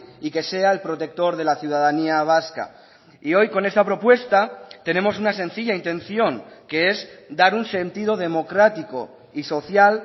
y que sea el protector de la ciudadanía vasca y hoy con esa propuesta tenemos una sencilla intención que es dar un sentido democrático y social